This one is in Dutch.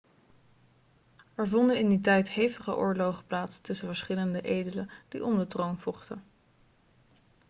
er vonden in die tijd hevige oorlogen plaats tussen verschillende edelen die om de troon vochten